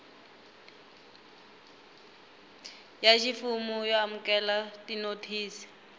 ya ximfumo yo amukela tinothisi